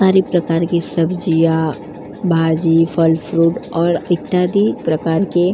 हर एक प्रकार की सब्जियां भाजी फल फ्रूट और इत्यादि प्रकार के --